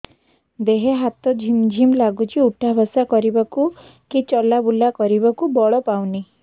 ଦେହେ ହାତ ଝିମ୍ ଝିମ୍ ଲାଗୁଚି ଉଠା ବସା କରିବାକୁ କି ଚଲା ବୁଲା କରିବାକୁ ବଳ ପାଉନି